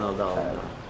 Dağın aşağısında.